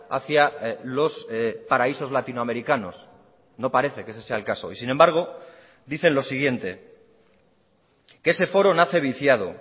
hacia los paraísos latinoamericanos no parece que ese sea el caso y sin embargo dicen lo siguiente que ese foro nace viciado